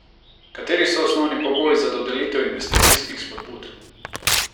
Kateri so osnovni pogoji za dodelitev investicijskih spodbud?